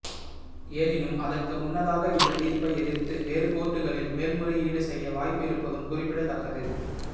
எனினும் அதற்கு முன்னதாக இந்த தீர்ப்பை எதிர்த்து வேறு கோர்ட்டுகளில் மேல்முறையீடு செய்ய வாய்ப்பு இருப்பதும் குறிப்பிடத்தக்கது